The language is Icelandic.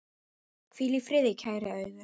Hvíl í friði, kæra Auður.